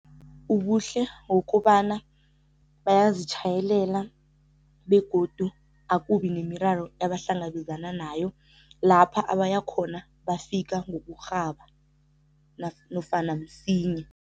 Ubuhle ngokobana bayazitjhayelela begodu akubi nemiraro ebahlangabezana nayo, lapha abaya khona bafika ngokurhaba nofana msinya.